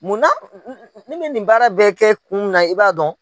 Mun na ne bɛ nin baara bɛɛ kɛ kun min na i b'a dɔn?